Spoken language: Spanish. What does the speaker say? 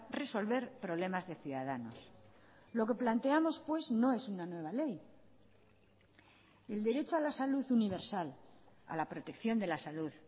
resolver problemas de ciudadanos lo que planteamos pues no es una nueva ley el derecho a la salud universal a la protección de la salud